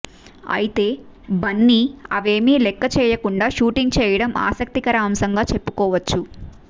అయితే బన్నీ అవేవీ లెక్క చేయకుండా షూటింగ్ చేయడం ఆసక్తికర అంశంగా చెప్పుకోవచ్చు